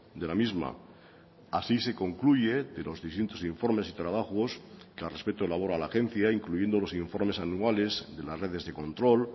de la misma así se concluye de los distintos informes y trabajos que al respeto elabora la agencia incluyendo los informes anuales de las redes de control